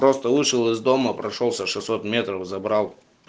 просто вышел из дома прошёлся шестьсот метров забрал